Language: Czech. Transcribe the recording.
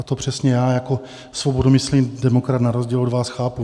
A to přesně já jako svobodomyslný demokrat na rozdíl od vás chápu.